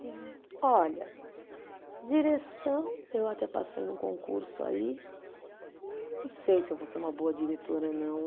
Olha, direção, eu até passei num concurso aí, mas não sei se eu vou ser uma boa diretora, não.